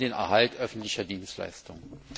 Wir wollen den Erhalt öffentlicher Dienstleistungen.